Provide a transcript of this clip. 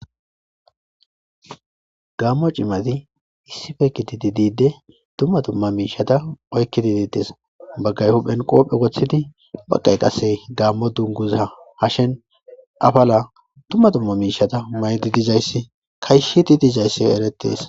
gammo cimati issife kididi dide dumma dumma miishata oykki didites baggay huphen qoophe woththidi baqay qasse gaammo dunguza hashen afala tumma tumma miishata maydi dizayssi kayshidi dizayssi eretees